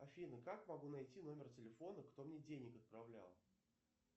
афина как могу найти номер телефона кто мне денег отправлял